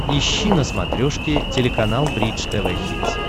ищи на смотрешке телеканал бридж тв хитс